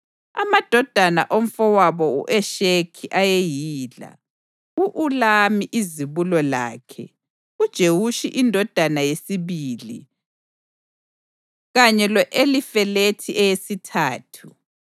Amadodana omfowabo u-Eshekhi ayeyila: u-Ulamu izibulo lakhe, uJewushi indodana yesibili kanye lo-Elifelethi eyesithathu.